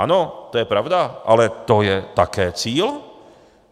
Ano, to je pravda, ale to je také cíl.